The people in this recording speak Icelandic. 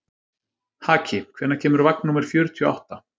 Haki, hvenær kemur vagn númer fjörutíu og átta?